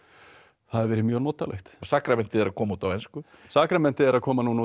það hefur verið mjög notalegt sakramentið er að koma út á ensku sakramentið er að koma núna út